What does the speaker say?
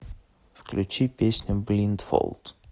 включи песню блиндфолд